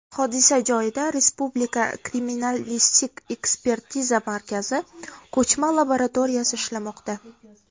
Hodisa joyida respublika Kriminalistik-ekspertiza markazi ko‘chma laboratoriyasi ishlamoqda.